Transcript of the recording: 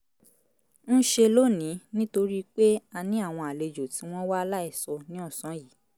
ń ṣe lónìí nítorí pé a ní àwọn àlejò tí wọ́n wá láìsọ ní ọ̀sán yìí